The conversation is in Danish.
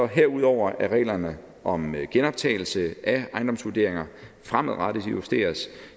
herudover at reglerne om genoptagelse af ejendomsvurderinger fremadrettet justeres